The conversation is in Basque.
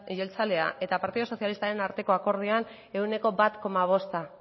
jeltzalea eta partido socialistaren akordioan ehuneko bat koma bosta